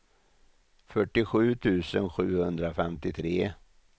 fyrtiosju tusen sjuhundrafemtiotre